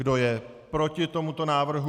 Kdo je proti tomuto návrhu?